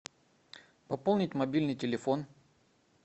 пополнить мобильный телефон